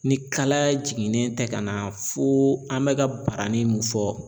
Ni kalaya jiginnen tɛ ka na fo an bɛ ka barani mun fɔ